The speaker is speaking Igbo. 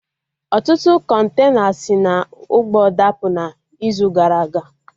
Ọtụtụ kọntena si na ụgbọ dapụ na izu gara aga